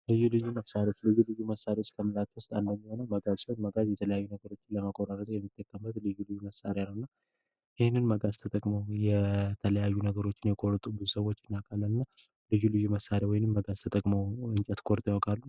ልዩ ልዩ መሳሪያዎች ልዩ ልዩ መሳሪያዎች ከምንላቸው ውስጥ መጋዝ አንዱ ሲሆን መጋዝ የተለያዩ ነገሮችን ለመቆራረጥ የምንጠቀምበት ልዩ ልዩ መሳሪያ ነው። እና ይህንን መሳሪያ መጋዝ ተጠቅመው የቆረጡብንን ሰዎች እናውቃለን ልዩ ልዩ መሳሪያ ወይም መጋዝ ተጠቅመው እንጨት ቆርጠው ያውቃሉ?